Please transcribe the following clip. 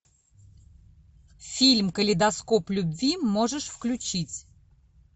фильм калейдоскоп любви можешь включить